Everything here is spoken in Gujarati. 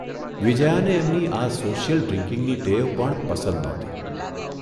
વિજયાને એમની આ સોશિયલ ડ્રિન્કીંગની ટેવ પણ પસંદ નહોતી.